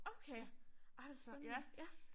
Okay altså ja